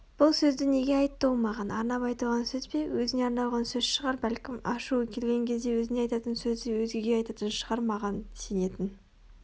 бұл сөзді неге айтты ол маған арнап айтылған сөз бе Өзіне арналған сөз шығар бәлкім ашуы келген кезде өзіне айтатын сөзді өзгеге айтатын шығар маған сенетін